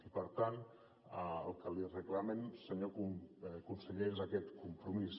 i per tant el que li reclamem senyor conseller és aquest compromís